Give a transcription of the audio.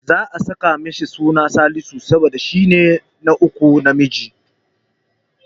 Za'a saka masa suna Salisu ne, saboda shi ne ɗa na uku namiji.